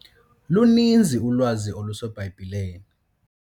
Luninzi ulwazi oluseBhayibhileni.